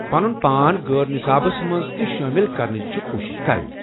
پنن پان غٲر نصابس منٛز تہِ شٲمل کرنٕچ چِھ کوشِش کرٕنۍ۔